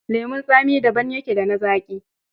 Lemon tsami daban yake da na zaƙi.